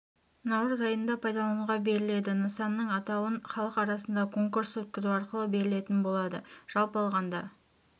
наурыз айында пайдалануға беріледі нысанның атауын халық арасында конкурс өткізу арқылы берілетін болады жалпы алғанда